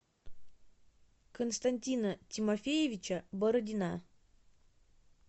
константина тимофеевича бородина